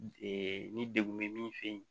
ni degun bɛ min fɛ yen